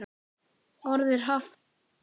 Orðið haft um vembda kú.